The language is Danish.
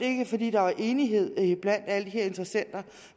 ikke fordi der var enighed blandt alle de her interessenter